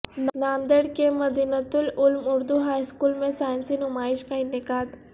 ناندیڑ کے Madinatul Uloom Urdu high school میں سائنسی نمائش کا انعقاد